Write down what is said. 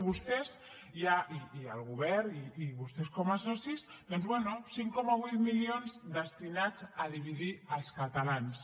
vostès i el govern i vostès com a socis doncs bé cinc coma vuit milions destinats a dividir els catalans